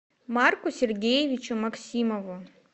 марку сергеевичу максимову